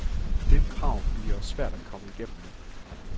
Det krav bliver svært at komme igennem med.